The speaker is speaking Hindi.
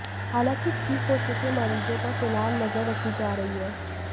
हालांकि ठीक हो चुके मरीजों पर फिलहाल नजर रखी जा रही है